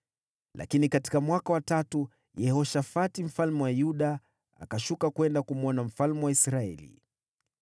Lakini katika mwaka wa tatu Yehoshafati mfalme wa Yuda akashuka kwenda kumwona mfalme wa Israeli.